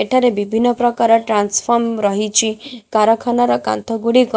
ଏଠାରେ ବିଭିନ୍ନ ପ୍ରକାର ଟ୍ରାନସ୍ଫର୍ମ ରହିଚି କାରଖାନାର କାନ୍ଥ ଗୁଡ଼ିକ --